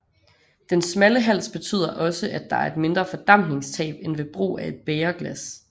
Den smalle hals betyder også at der er mindre fordampningstab end ved brug af et bægerglas